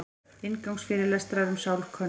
Inngangsfyrirlestrar um sálkönnun.